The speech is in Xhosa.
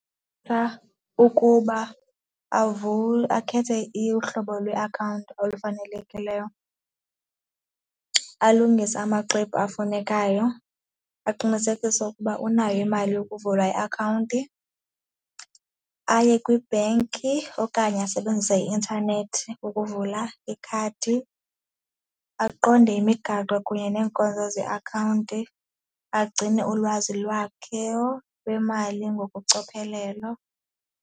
Phaa ukuba akhethe uhlobo lweakhawunti olufanelekileyo, alungise amaxwebhu afunekayo, aqinisekise ukuba unayo imali yokuvula iakhawunti, aye kwiibhenki okanye asebenzise i-intanethi ukuvula ikhadi, aqonde imigaqo kunye neenkonzo zeakhawunti, agcine ulwazi lwakhe lwemali ngokucophelelo.